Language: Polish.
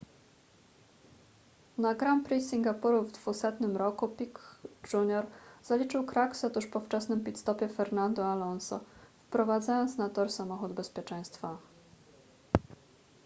na grand prix singapuru w 200 roku piquet jr zaliczył kraksę tuż po wczesnym pit stopie fernando alonso wyprowadzając na tor samochód bezpieczeństwa